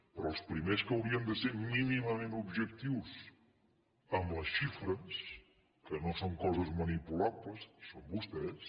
però els primers que haurien de ser mínimament objectius amb les xifres que no són coses manipulables són vostès